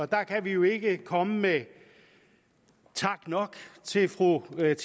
der kan vi jo ikke komme med tak nok til fru